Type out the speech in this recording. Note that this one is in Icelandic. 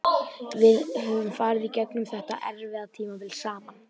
Við höfum farið í gegnum þetta erfiða tímabil saman.